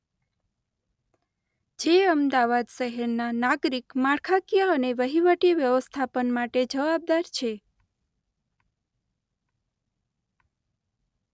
જે અમદાવાદ શહેરના નાગરિક માળખાકીય અને વહીવટી વ્યવસ્થાપન માટે જવાબદાર છે.